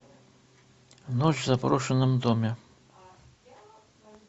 ночь в заброшенном доме